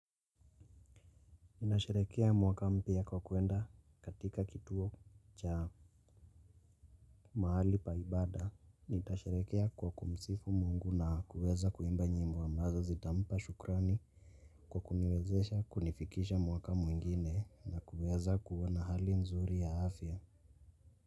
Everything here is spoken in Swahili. Nasharekea mwaka mpya kwa kwenda katika kituo cha mahali pa ibada. Nitasharekea kwa kumsifu mungu na kuweza kuimba nyimbo wa ambazo zitampa shukrani kwa kuniwezesha kunifikisha mwaka mwingine na kuweza kuwana hali nzuri ya afya.